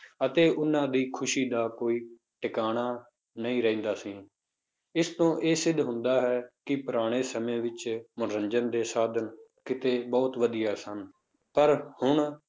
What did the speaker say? ਅਤੇ ਉਹਨਾਂ ਦੀ ਖ਼ੁਸ਼ੀ ਦਾ ਕੋਈ ਟਿਕਾਣਾ ਨਹੀਂ ਰਹਿੰਦਾ ਸੀ, ਇਸ ਤੋਂ ਇਹ ਸਿੱਧ ਹੁੰਦਾ ਹੈ, ਕਿ ਪੁਰਾਣੇ ਸਮੇਂ ਵਿੱਚ ਮਨੋਰੰਜਨ ਦੇ ਸਾਧਨ ਕਿਤੇ ਬਹੁਤ ਵਧੀਆ ਸਨ ਪਰ ਹੁਣ